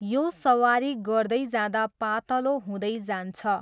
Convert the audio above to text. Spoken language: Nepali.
यो सवारी गर्दै जाँदा पातलो हुँदै जान्छ।